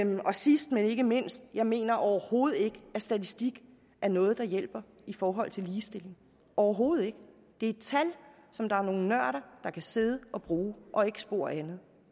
sidst men ikke mindst jeg mener overhovedet ikke at statistik er noget der hjælper i forhold til ligestilling overhovedet ikke det er tal som der er nogle nørder der kan sidde og bruge og ikke spor andet